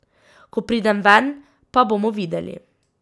Ko pridem ven, pa bomo videli ...